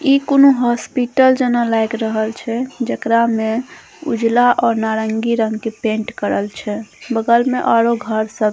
इ कूनू हॉस्पिटल जना लाएग रहल छै जकरा में उजला और नारंगी रंग के पेंट करल छै बगल में आरो घर सब --